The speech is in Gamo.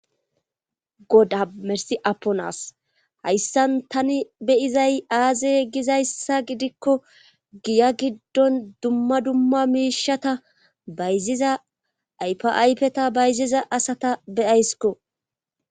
Goda mersi apponas hayssan tani beyizay aaze gizayssa gidikko giya giddon dumma dumma miishata bayziza aypaypeta bayziza asata beyaysko